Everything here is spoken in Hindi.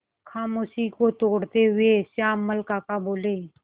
खामोशी को तोड़ते हुए श्यामल काका बोले